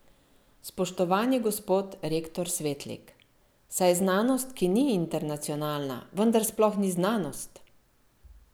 Spoštovani gospod rektor Svetlik, saj znanost, ki ni internacionalna, vendar sploh ni znanost!